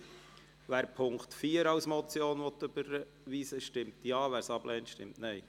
Wer den Punkt 4 als Motion überweisen will, stimmt Ja, wer es ablehnt, stimmt Nein.